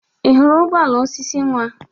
Ị hụrụ ụgbọ ala osisi nwa?